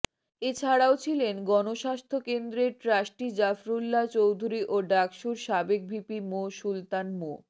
এছাড়াও ছিলেন গণস্বাস্থ্য কেন্দ্রের ট্রাস্টি জাফরুল্লাহ চৌধুরী ও ডাকসুর সাবেক ভিপি সুলতান মো